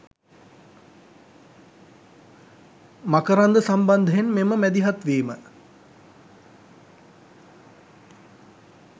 මකරන්ද සම්බන්ධයෙන් මෙම මැදිහත්වීම